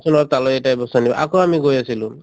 যোৱাচোন অলপ তালৈ এটা বস্তু আনিবলৈ আকৌ আমি গৈ আছিলো